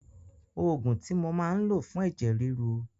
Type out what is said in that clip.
Òògùn tí mo máa ń lò fún ẹ̀jẹ̀ ríru.